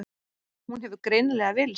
Hún hefur greinilega villst.